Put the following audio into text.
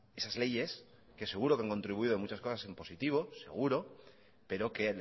esas leyes que seguro que han contribuido en muchas cosas en positivo seguro pero que